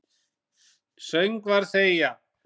Söngvar þegja.